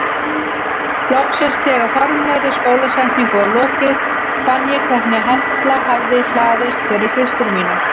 Loksins þegar formlegri skólasetningu var lokið fann ég hvernig hella hafði hlaðist fyrir hlustir mínar.